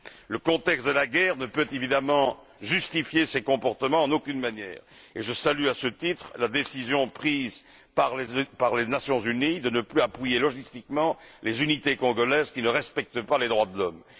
Le contexte de la guerre ne peut évidemment justifier ces comportements en aucune manière, et je salue à ce titre la décision prise par les Nations unies de ne plus appuyer, au niveau de la logistique, les unités congolaises qui ne respectent pas les droits de l'homme.